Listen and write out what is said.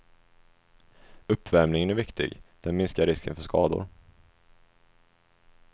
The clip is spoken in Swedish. Uppvärmningen är viktig, det minskar risken för skador.